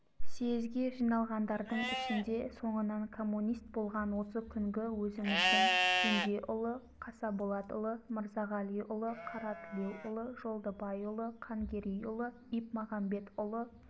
съезге жиналғандардың ішінде соңынан коммунист болған осы күнгі өзіміздің кенжеұлы қасаболатұлы мырзағалиұлы қаратілеуұлы жолдыбайұлы қангерейұлы ипмағамбетұлы